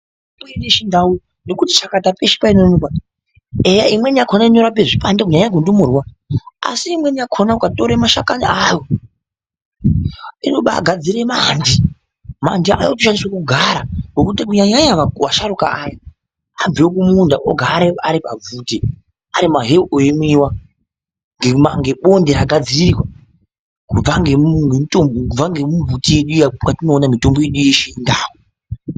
Mitombo yechindau nekuti chakata peshe painoonekwa eya imweni inorapa zvipande kunyanyanyanya kundumurwa asi imweni ukatora mashakani ayo inobagadzira manti manti anoshandiswa kugara Ngokuti kunyanya vasharukwa ava vabve kumunda Vari pabvute Ari maheu eimwiwa ngebonde ragadzirwa kubva mbiti yedu iyi kwatinoona mitombo yedu yechindau.